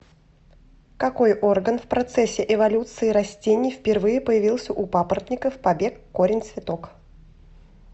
какой орган в процессе эволюции растений впервые появился у папоротников побег корень цветок